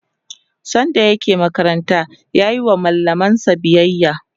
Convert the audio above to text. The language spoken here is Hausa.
sanda yake makaranta yayi wa mallamansa biyaya